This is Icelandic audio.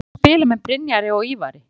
Hvernig er að spila með Brynjari og Ívari?